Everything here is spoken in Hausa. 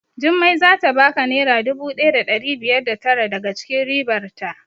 Jummai zata baka naira dubu ɗaya da ɗari biyar da tara daga cikin ribar ta